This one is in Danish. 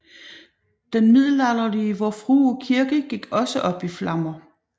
Den middelalderlige Vor Frue Kirke gik også op i flammer